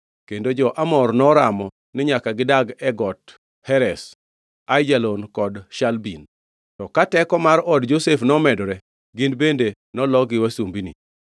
Kendo jo-Amor noramo ni nyaka gidag e Got Heres, Aijalon kod Shalbim, to ka teko mar od Josef nomedore, gin bende nolokgi wasumbini.